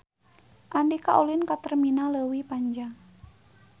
Andika ulin ka Terminal Leuwi Panjang